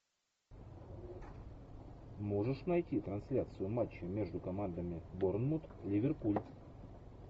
можешь найти трансляцию матча между командами борнмут ливерпуль